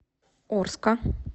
орска